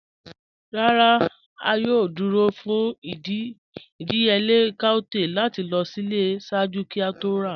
"Ràrá, a yòò dúró fún ìdíyèlẹ̀ cowtail láti lọ sílẹ̀ ṣáàjú kí a tó rà."